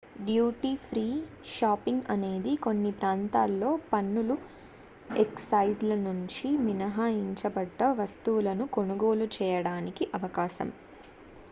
duty free shopping అనేది కొన్ని ప్రాంతాల్లో పన్నులు ఎక్సైజ్ ల నుంచి మినహాయించబడ్డ వస్తువులను కొనుగోలు చేయడానికి అవకాశం